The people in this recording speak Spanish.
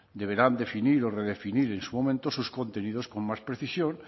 deberán definir o redefinir en su momento sus contenidos con más precisión